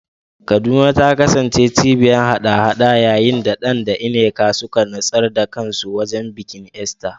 Kaduna ta kasance cibiyar haɗa-haɗa yayin da Dan da Nneka suka nutsar da kansu wajen bikin Easter.